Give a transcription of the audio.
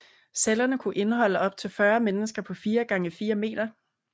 Cellerne kunne indeholde op til 40 mennesker på 4x4 meter